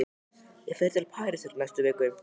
Ég fer til Parísar í næstu viku.